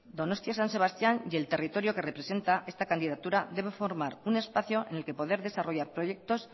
donostia san sebastián y el territorio que representa esta candidatura debe formar un espacio en el que poder desarrollar proyectos